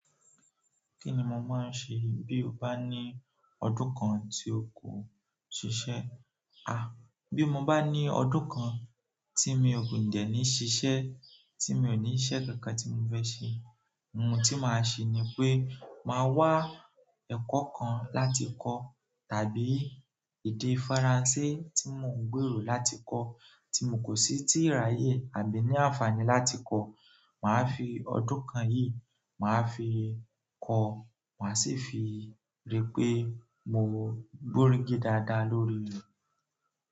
Kí ni mo máa ń ṣe bí o bá ní ọdún kan tí ó kò ṣiṣẹ́? À, bí mo bá ní ọdún kan tí mi ò dẹ̀ ní ṣiṣẹ́ tí mi ò ní iṣẹ́ kankan tí mo fẹ́ ṣe, ohun tí màá ṣe ni pé màá wá ẹ̀kọ́ kan láti kọ́ tàbí èdè Faransé tí mo ń gbèrò láti kọ́ tí mo kò sí tíì ràyè àbí ní àǹfààní láti kọ́. Màá fi ọdún kan yìí, màá fi kọ́, màá sì fi rí pé mo gbórígi dáadáa lórí rẹ̀.